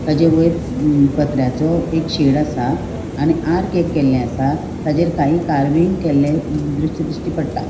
ताचे वयर पत्र्याचो एक शेड असा आणि अर्क केले असा ताचेर कै कार्विंग केले द्रिश्य दृश्य पट्टा.